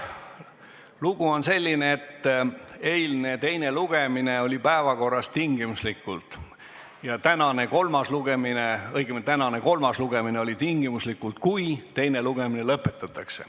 Lugu on selline, et tänane kolmas lugemine oli päevakorras tingimuslikult: juhul kui teine lugemine teisipäeval lõpetatakse.